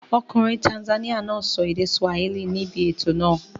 Ọkùnrin Tanzania náà sọ èdè Swahili níbi ètò náà.